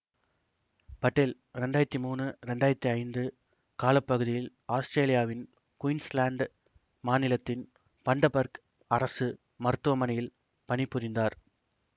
பட்டேல் இரண்டாயிரத்தி மூனு இரண்டாயிரத்தி ஐந்து கால பகுதியில் ஆத்திரேலியாவின் குயின்ஸ்லாந்து மாநிலத்தின் பண்டபர்க் அரசு மருத்துவமனையில் பணிபுரிந்தார்